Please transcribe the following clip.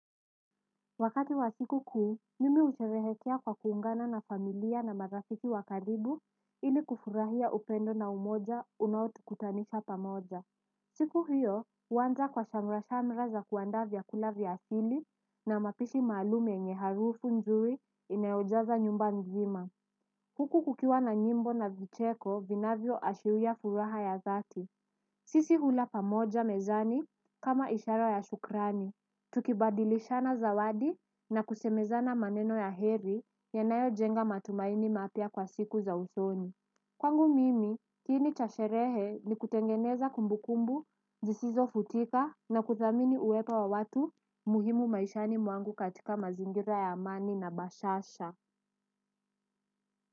Wakati wa siku kuu, mimi husherehekea kwa kuungana na familia na marafiki wa karibu, ili kufurahia upendo na umoja unaotukutanisha pamoja. Siku hiyo, huanza kwa shamra-shamra za kuandaa vyakula vya asili na mapishi maalum yenye harufu nzuri inayojaza nyumba mzima. Huku kukiwa na nyimbo na vicheko vinavyo ashiria furaha ya dhati. Sisi hula pamoja mezani kama ishara ya shukrani. Tukibadilishana zawadi na kusemezana maneno ya heri yanayo jenga matumaini mapya kwa siku za usoni kwangu mimi, kiini cha sherehe ni kutengeneza kumbukumbu, zisizo futika na kudhamini uwepo wa watu muhimu maishani mwangu katika mazingira ya amani na bashasha.